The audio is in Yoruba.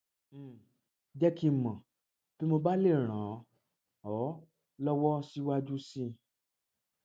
um jẹ kí n mọ bí mo bá lè ràn um ọ lọwọ síwájú sí i